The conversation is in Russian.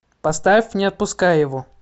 поставь не отпускай его